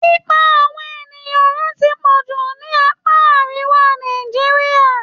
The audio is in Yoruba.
Pípa àwọn ènìyàn run ti pọ̀ jù ní apá àríwá Nàìjíríà.